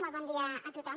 molt bon dia a tothom